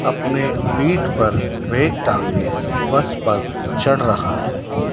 अपने पीठ पर बैग टांगे बस पर चढ़ रहा है।